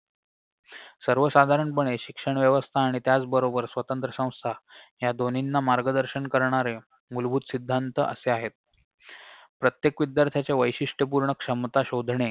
सर्वसाधारणपणे शिक्षणव्यवस्था आणि त्याचबरोबर स्वतंत्र संस्था ह्या दोन्हींना मार्गदर्शन करणाऱ्या मूलभूत सिद्धांत असे आहेत प्रत्येक विद्यार्थ्यांच्या वैशिष्ट्यपूर्ण क्षमता शोधणे